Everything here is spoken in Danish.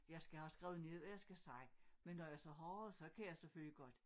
Jeg skal have skrevet ned hvad jeg skal sige men når jeg så har så kan jeg selvfølgelig godt